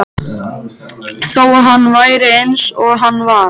Þó hann væri eins og hann var.